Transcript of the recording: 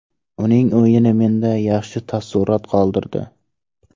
Uning o‘yini menda yaxshi taassurot qoldirdi.